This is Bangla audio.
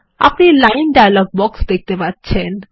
আপনি লাইন ডায়লগ বাক্স দেখতে পাচ্ছেন